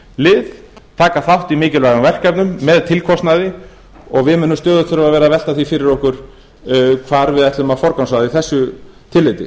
lið taka þátt í mikilvægum verkefnum með tilkostnaði og við munum stöðugt þurfa að vera að velta því fyrir okkur hvar við ætlum að forgangsraða í þessu tilliti